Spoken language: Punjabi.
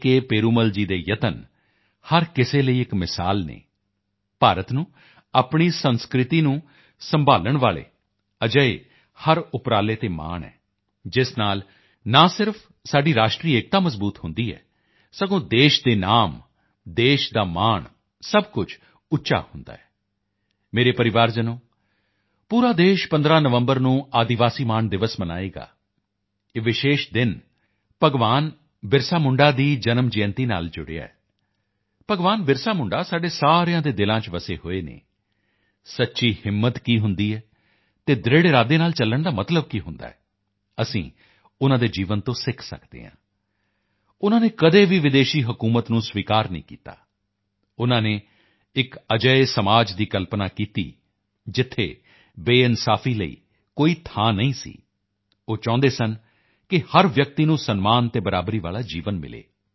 ਪੇਰੂਮਲ ਜੀ ਦੇ ਯਤਨ ਹਰ ਕਿਸੇ ਲਈ ਇੱਕ ਮਿਸਾਲ ਹਨ ਭਾਰਤ ਨੂੰ ਆਪਣੀ ਸੰਸਕ੍ਰਿਤੀ ਨੂੰ ਸੰਭਾਲਣ ਵਾਲੇ ਅਜਿਹੇ ਹਰ ਉਪਰਾਲੇ ਤੇ ਮਾਣ ਹੈ ਜਿਸ ਨਾਲ ਨਾ ਸਿਰਫ਼ ਸਾਡੀ ਰਾਸ਼ਟਰੀ ਏਕਤਾ ਮਜ਼ਬੂਤ ਹੁੰਦੀ ਹੈ ਸਗੋਂ ਦੇਸ਼ ਦੇ ਨਾਮ ਦੇਸ਼ ਦਾ ਮਾਣ ਸਭ ਕੁਝ ਉੱਚਾ ਹੁੰਦਾ ਹੈ ਮੇਰੇ ਪਰਿਵਾਰਜਨੋਂ ਪੂਰਾ ਦੇਸ਼ 15 ਨਵੰਬਰ ਨੂੰ ਆਦਿਵਾਸੀ ਮਾਣ ਦਿਵਸ ਮਨਾਏਗਾ ਇਹ ਵਿਸ਼ੇਸ਼ ਦਿਨ ਭਗਵਾਨ ਬਿਰਸਾਮੁੰਡਾ ਦੀ ਜਨਮ ਜਯੰਤੀ ਨਾਲ ਜੁੜਿਆ ਹੈ ਭਗਵਾਨ ਬਿਰਸਾਮੁੰਡਾ ਸਾਡੇ ਸਾਰਿਆਂ ਦੇ ਦਿਲਾਂ ਚ ਵਸੇ ਹੋਏ ਹਨ ਸੱਚੀ ਹਿੰਮਤ ਕੀ ਹੁੰਦੀ ਹੈ ਅਤੇ ਦ੍ਰਿੜ੍ਹ ਇਰਾਦੇ ਨਾਲ ਚਲਣ ਦਾ ਕੀ ਮਤਲਬ ਹੁੰਦਾ ਹੈ ਅਸੀਂ ਉਨ੍ਹਾਂ ਦੇ ਜੀਵਨ ਤੋਂ ਸਿੱਖ ਸਕਦੇ ਹਾਂ ਉਨ੍ਹਾਂ ਨੇ ਕਦੇ ਵੀ ਵਿਦੇਸ਼ੀ ਹਕੂਮਤ ਨੂੰ ਸਵੀਕਾਰ ਨਹੀਂ ਕੀਤਾ ਉਨ੍ਹਾਂ ਨੇ ਇੱਕ ਅਜਿਹੇ ਸਮਾਜ ਦੀ ਕਲਪਨਾ ਕੀਤੀ ਜਿੱਥੇ ਬੇਇਨਸਾਫੀ ਲਈ ਕੋਈ ਥਾਂ ਨਹੀਂ ਸੀ ਉਹ ਚਾਹੁੰਦੇ ਸਨ ਕਿ ਹਰ ਵਿਅਕਤੀ ਨੂੰ ਸਨਮਾਨ ਅਤੇ ਬਰਾਬਰੀ ਵਾਲਾ ਜੀਵਨ ਮਿਲੇ